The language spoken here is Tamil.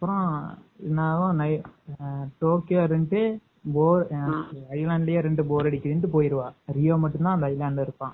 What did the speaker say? அப்பறம் டோக்கியோ வந்துட்டு island லையே இருந்து bore அடிக்கிது சொல்லிட்டு island ல இருந்து போயிருவான்.அப்பறம் ரியோ மட்டும் தான் இருப்பான்.